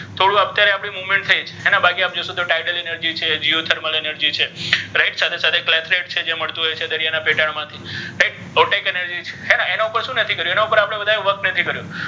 થોડુ અત્યારે આપણે movement થઇ છે હે ને બાકી આમ જો શે તો છે છે right સાથે સાથે જે મળ્તુ હોય છે દરિયાના પેટાળ માથી right રોટેટ energy છે હે ને ઍના પર પણ શુ નથી કર્યુ ઍની પર work નથી કર્યુ.